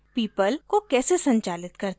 people को कैसे संचालित करते हैं